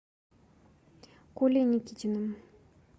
колей никитиным